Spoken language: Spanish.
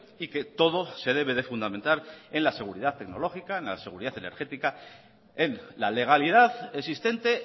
y que todo se debe de fundamentar en la seguridad tecnológica en la seguridad energética en la legalidad existente